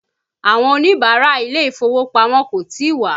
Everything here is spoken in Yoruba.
Àwọn Oníbàárà ilé ìfowópamọ́ kò tí ì wá